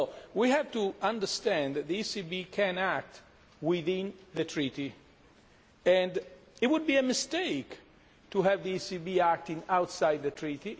We have to understand that the ECB can act within the Treaty. It would be a mistake to have the ECB acting outside the Treaty